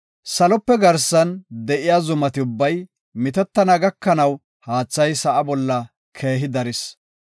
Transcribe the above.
Salope garsan de7iya zumati ubbay mitettana gakanaw haathay sa7a bolla keehi daris.